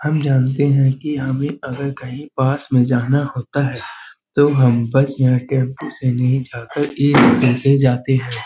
हम जानते हैं कि हमें अगर कहीं पास में जाना होता हैं तो हम बस या टेम्पो से नहीं जाकर ई-रीक्शा से जाते हैं।